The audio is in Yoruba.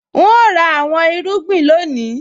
N óò ra àwọn irúgbìn lónìí